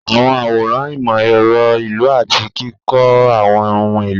Àwọn àwòrán ìmọ̀ ẹ̀rọ ìlú àti kíkọ́ àwọn ohun èlò.